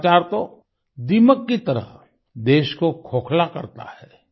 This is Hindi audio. भ्रष्टाचार तो दीमक की तरह देश को खोखला करता है